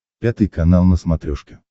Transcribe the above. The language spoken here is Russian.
пятый канал на смотрешке